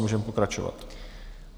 Můžeme pokračovat.